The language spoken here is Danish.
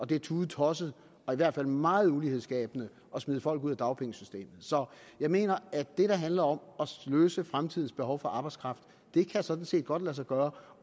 det er tudetosset og i hvert fald meget ulighedsskabende at smide folk ud af dagpengesystemet så jeg mener at det der handler om at løse fremtidens behov for arbejdskraft sådan set godt kan lade sig gøre